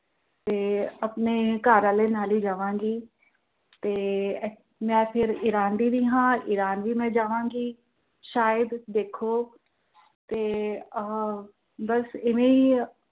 ਤੇ ਆਪਣੇ ਘਰਵਾਲੇ ਨਾਲ ਹੀ ਜਾਵਾਂਗੀ। ਤੇ ਅਰ ਫਿਰ ਮੈਂ ਈਰਾਨ ਦੀ ਵੀ ਹਾਂ ਈਰਾਨ ਵੀ ਜਾਵਾਂਗੀ, ਸ਼ਾਇਦ ਦੇਖੋ ਤੇ ਆਹ ਬੱਸ ਏਵੇਂ ਹੀ ਆ